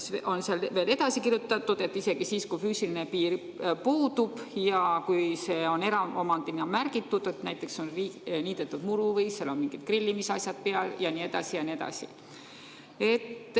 " Siin on veel edasi kirjutatud, et isegi siis, kui füüsiline piir puudub, eraomandina märgitud, näiteks on muru niidetud või on seal mingid grillimisasjad peal ja nii edasi ja nii edasi.